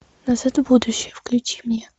назад в будущее включи мне